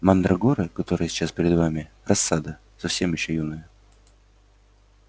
мандрагоры которые сейчас перед вами рассада совсем ещё юная